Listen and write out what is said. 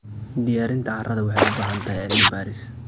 Diyaarinta carrada waxay u baahan tahay cilmi baaris.